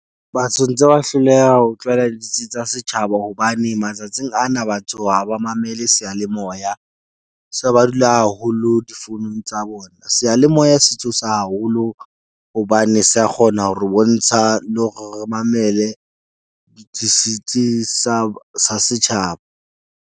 Batsho ntse ba hloleha ho tlwaela ditsi tsa setjhaba hobane matsatsing ana batho ha ba mamele seyalemoya. Se ba dula haholo difounung tsa bona. Seyalemoya se thusa haholo hobane se a kgona hore bontsha le hore re mamele di tsa tsa setjhaba.